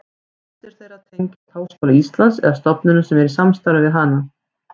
Flestir þeirra tengjast Háskóla Íslands eða stofnunum sem eru í samstarfi við hann.